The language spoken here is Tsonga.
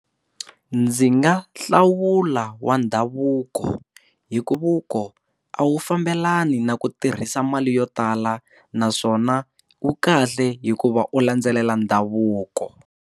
Ndzi nga hlawula wa ndhavuko hikuva loko a wu fambelani na ku tirhisa mali yo tala naswona wu kahle hikuva u landzelela ndhavuko.